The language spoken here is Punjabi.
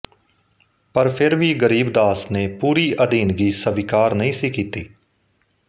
ਪਰ ਫਿਰ ਵੀ ਗਰੀਬ ਦਾਸ ਨੇ ਪੂਰੀ ਅਧੀਨਗੀ ਸਵੀਕਾਰ ਨਹੀਂ ਸੀ ਕੀਤੀ